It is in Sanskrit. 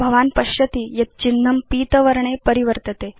भवान् पश्यति यत् चिह्नं पीत वर्णे परिवर्तते